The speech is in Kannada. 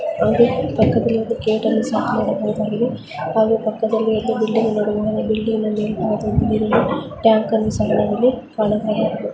ಇದು ಒಂದು ಕಾರ್ ಗ್ಯಾಲಕ್ಸಿ ಷೋ ಮೇಲ್ಭಾಗದಲ್ಲಿ ಕೆಲವು ಅಂಗಡಿ ಇದೆ ಪಕ್ಕದಲ್ಲಿ ಗೇಟ್ ಇದೆ ಹಾಗೆ ಪಕ್ಕದಲ್ಲಿ ಬಿಲ್ಡಿಂಗ್ ಸಹ ಇದೆ ಹಾಗು ಟ್ಯಾಂಕ್ ಅನ್ನು ಕಾಣಬಹುದು.